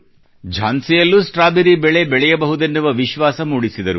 ಝಾನ್ಸಿಯಲ್ಲೂ strawberry ಬೆಳೆ ಬೆಳೆಯಬಹುದೆನ್ನುವ ವಿಶ್ವಾಸ ಮೂಡಿಸಿದರು